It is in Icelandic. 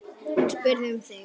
Hún spurði um þig.